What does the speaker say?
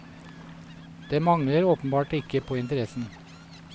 Det mangler åpenbart ikke på interessen.